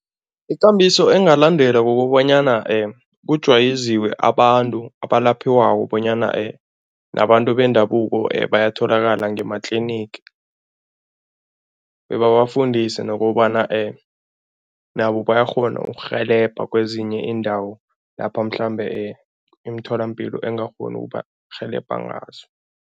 Ikambiso engalandela kukobanyana kujwayeziwe abantu abalaphiwako bonyana nabantu bendabuko bayatholakala ngema-clinic bebabafundise nokobana nabo bayakghona ukurhelebha kwezinye iindawo lapha mhlambe imitholampilo engakghoni ukubarhelebha ngazo.